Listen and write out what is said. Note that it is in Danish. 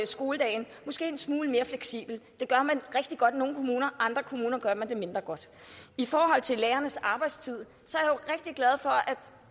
skoledagen en smule mere fleksibel det gør man rigtig godt i nogle kommuner i andre kommuner gør man det mindre godt i forhold til lærernes arbejdstid